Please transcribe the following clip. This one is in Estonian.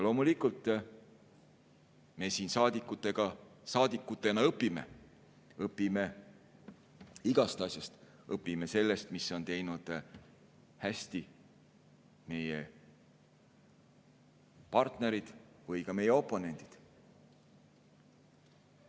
Loomulikult me siin saadikutena õpime, õpime igast asjast, õpime sellest, mida on teinud hästi meie partnerid või ka meie oponendid.